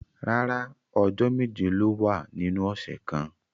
Rárá, ọjọ meje lo wa ninu ọsẹ kan.